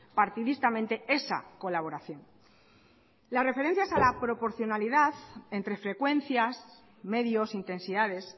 partidistamente esa colaboración las referencias a la proporcionalidad entre frecuencias medios intensidades